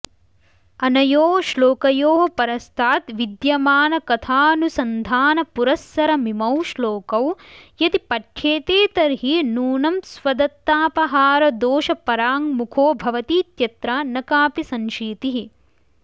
अनयोः श्लोकयोः परस्ताद् विद्यमानकथानुसन्धानपुरस्सरमिमौ श्लोकौ यदि पठ्येते तर्हि नूनं स्वदत्तापहारदोषपराङ्मुखो भवतीत्यत्र न कापि संशीतिः